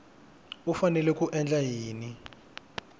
u fanele ku endla yini